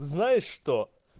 знаешь что